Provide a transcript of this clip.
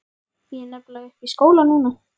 Ég er nefnilega uppi í skóla núna.